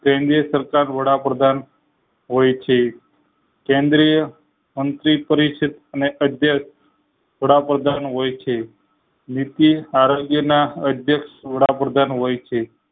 સરકાર વડાપ્રધાન હોય છે કેન્દ્રીય અંતિમ પરિસ્થિતિ ને અધયસ વડાપ્રધાન હોય છે નીતિ આરોગ્ય ના અધ્યક્ષ વડાપ્રધાન હોય છે